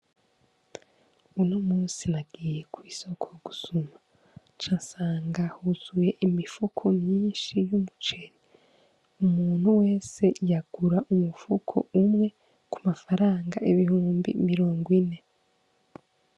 Unomusi nagiye mw'isoko gusuma ca nsanga huzuye imifuko myinshi y' umuceri umuntu wese yagura umufuko umwe kumafaranga ibihumbi mirongo ine.